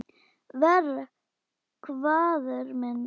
Verr, hváðum við.